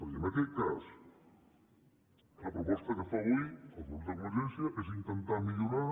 i en aquest cas la proposta que fa avui el grup de convergència és intentar millorar